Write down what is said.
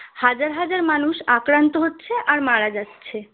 হাজার হাজার মানুষ আক্রান্ত হচ্ছে আর মারা যাচ্ছে